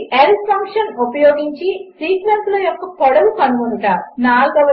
lenఫంక్షన్ఉపయోగించిసీక్వెన్స్లయొక్కపొడవుకనుగొనుట 4